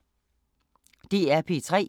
DR P3